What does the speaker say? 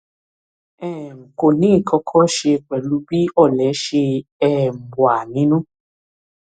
um kò ní nǹkan kan ṣe pẹlú bí ọlẹ ṣe um wà nínú